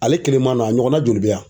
Ale kelen ma n'a ɲɔgɔnna joli bɛ yan.